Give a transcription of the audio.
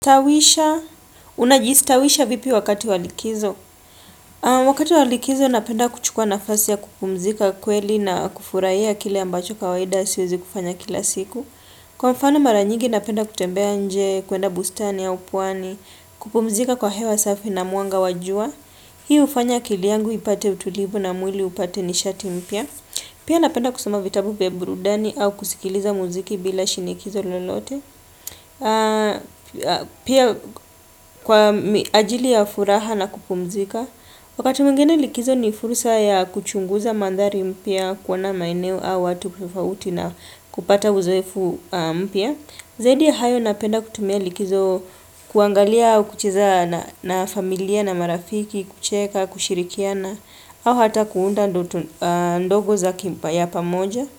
Tawisha, unajistawisha vipi wakati wa likizo? Wakati wa likizo, napenda kuchukua nafasi ya kupumzika kweli na kufurahia kile ambacho kawaida siwezi kufanya kila siku. Kwa mfano maranyigi, napenda kutembea nje, kuenda bustani au pwani, kupumzika kwa hewa safi na mwanga wa jua. Hiu hufanya akili yangu ipate utulivu na mwili upate nishati mpia. Pia napenda kusoma vitabu vya burudani au kusikiza mziki bila shinikizo lolote. Pia kwa ajili ya furaha na kupumzika Wakati mwingine likizo ni fursa ya kuchunguza manthari mapya, kuona maeneo au watu tofauti na kupata uzoefu mpya Zaidi ya hayo napenda kutumia likizo kuangalia au kucheza na familia na marafiki kucheka, kushirikiana au hata kuunda ndoto ndogo ya pamoja.